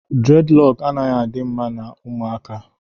dreadlock adịghị mma na ụmụaka.